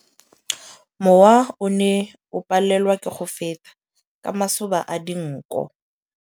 Mowa o ne o palelwa ke go feta ka masoba a dinko.